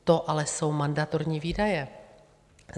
To ale jsou mandatorní výdaje.